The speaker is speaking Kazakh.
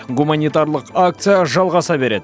гуманитарлық акция жалғаса береді